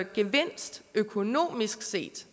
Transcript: gevinst økonomisk set